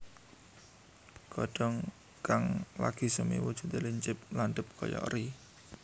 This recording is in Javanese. Godhong kang lagi semi wujudé lincip landhep kaya eri